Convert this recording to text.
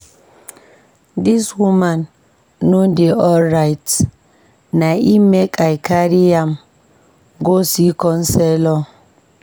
Dis woman no dey alright na im make I carry am go see counselor.